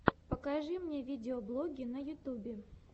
покажи мне видеоблоги на ютьюбе